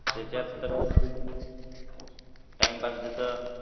त्याच्यात तर business timepass जसं,